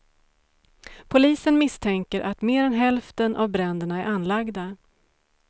Polisen misstänker att mer än hälften av bränderna är anlagda.